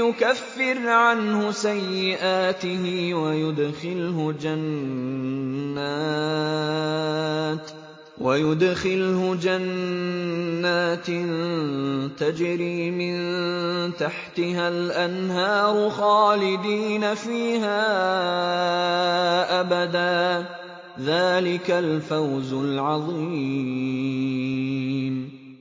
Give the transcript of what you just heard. يُكَفِّرْ عَنْهُ سَيِّئَاتِهِ وَيُدْخِلْهُ جَنَّاتٍ تَجْرِي مِن تَحْتِهَا الْأَنْهَارُ خَالِدِينَ فِيهَا أَبَدًا ۚ ذَٰلِكَ الْفَوْزُ الْعَظِيمُ